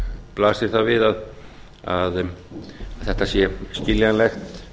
blasir það við að þetta sé skiljanlegt